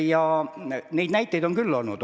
Ja näiteid selle kohta on küll olnud.